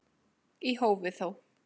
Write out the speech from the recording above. Í hófi þó.